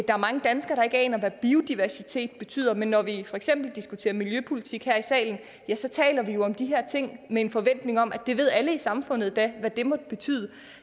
er mange danskere der ikke aner hvad biodiversitet betyder men når vi for eksempel diskuterer miljøpolitik her i salen ja så taler vi om de her ting med en forventning om at det ved da alle i samfundet hvad det måtte betyde